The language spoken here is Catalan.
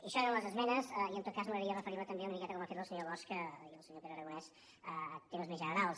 això eren les esmenes i en tot cas m’agradaria referir me també una miqueta com han fet el senyor bosch i el senyor pere aragonès a temes més generals